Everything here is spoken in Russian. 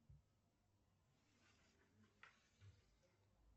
афина подключи телевизионный канал